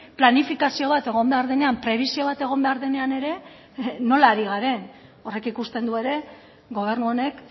planifikazio bat egon behar denean prebisio bat egon behar denean ere nola ari garen horrek ikusten du ere gobernu honek